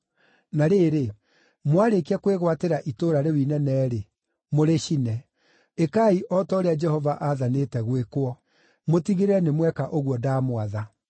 Na rĩrĩ, mwarĩkia kwĩgwatĩra itũũra rĩu inene-rĩ, mũrĩcine. Ĩkai o ta ũrĩa Jehova aathanĩte gwĩkwo. Mũtigĩrĩre nĩ mweka ũguo ndamwatha.”